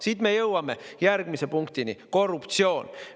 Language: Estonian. Siit me jõuame järgmise punktini: korruptsioon.